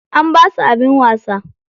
An basu abin wasa.